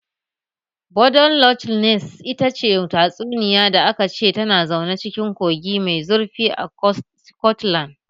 Dodon Loch Ness ita ce tatsuniya da aka ce tana zaune cikin kogi mai zurfi a Sikotlan